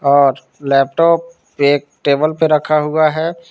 और लैपटॉप एक टेबल पे रखा हुआ है।